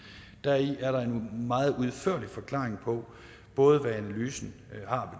deri er der en meget udførlig forklaring på både hvad analysen har